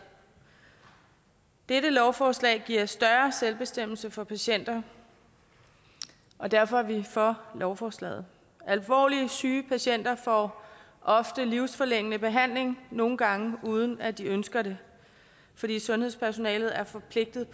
dette lovforslag giver større selvbestemmelse for patienter og derfor er vi for lovforslaget alvorligt syge patienter får ofte livsforlængende behandling og nogle gange uden at de ønsker det fordi sundhedspersonalet er forpligtet